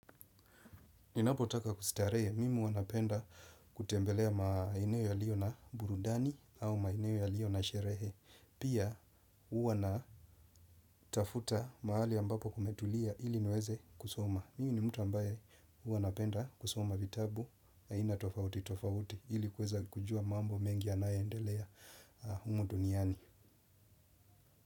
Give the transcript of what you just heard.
Ninapotaka kustarehe, mimi huwa napenda kutembelea maeneo yaliyo na burudani au maeneo yaliyo na sherehe. Pia huwa natafuta mahali ambapo kumetulia ili niweze kusoma. Mimi ni mtu ambaye huwa napenda kusoma vitabu aina tofauti tofauti ili kuweza kujua mambo mengi yanayoendelea humu duniani.